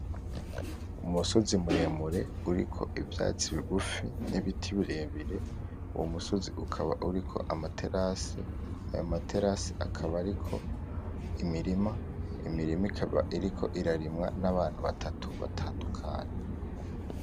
Umusozi muremure uriko ivyatsi bigufi nibiti birebire uwo musozi ukaba uriko amaterase ayo materase akaba ariko imimirima , imirima ikaba iriko irarimwa nabantu batatu batandukanye.